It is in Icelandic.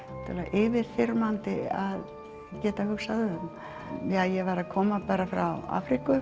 yfirþyrmandi að geta hugsað um ég var að koma frá Afríku